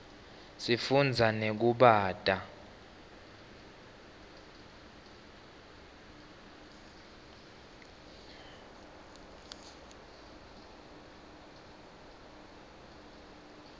sifunza nekubata